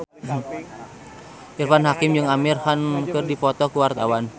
Irfan Hakim jeung Amir Khan keur dipoto ku wartawan